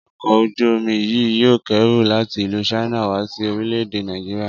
Ọkọ̀ ojú-omi yìí yóò kẹ́rù láti ìlú China wá sí orílè-èdè Nàìjíríà